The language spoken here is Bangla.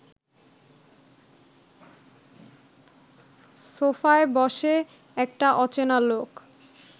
সোফায় বসে একটা অচেনা লোক